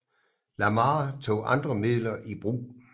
Lamar tog andre midler i brug